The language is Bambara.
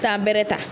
Taa bɛrɛ ta